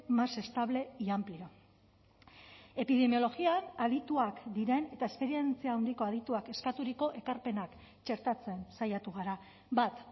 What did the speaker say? más estable y amplio epidemiologian adituak diren eta esperientzia handiko adituak eskaturiko ekarpenak txertatzen saiatu gara bat